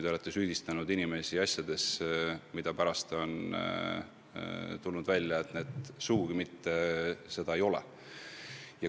Te olete süüdistanud inimesi asjades, milles, nagu pärast on välja tulnud, nad sugugi süüdi ei ole.